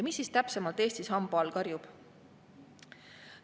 Mis siis täpsemalt Eestis hamba all karjub?